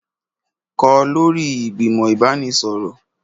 Kọ lori igbimọ ibanisọrọ